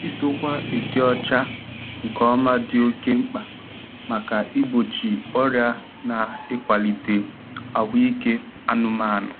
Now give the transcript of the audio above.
Idokwa ịdị ọcha nke ọma dị oke mkpa maka igbochi ọrịa na ịkwalite ahụike anụmanụ.